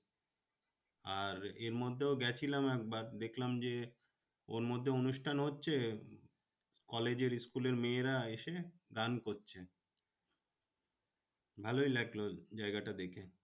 আর এরমধ্যেও গেছিলাম একবার দেখলাম যে, ওর মধ্যে অনুষ্ঠান হচ্ছে কলেজের school এর মেয়েরা এসে গান করছে। ভালোই লাগলো জায়গাটা দেখে।